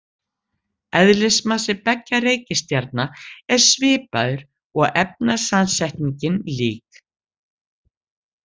Eðlismassi beggja reikistjarna er svipaður og efnasamsetningin lík.